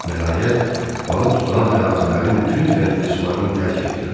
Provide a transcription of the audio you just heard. Nəhayət, balıq tutulan ərazilərin tünd rəngli sularını tərk etdilər.